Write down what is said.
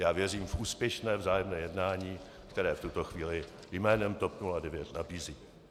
Já věřím v úspěšné vzájemné jednání, které v tuto chvíli jménem TOP 09 nabízím.